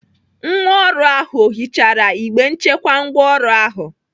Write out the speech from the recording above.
Nwa ọrụ ahụ ọ hichara igbe nchekwa ngwaọrụ ahụ?